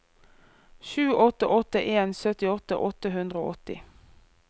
sju åtte åtte en syttiåtte åtte hundre og åtti